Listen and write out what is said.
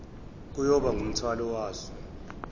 kuyoba ngumthwalo waso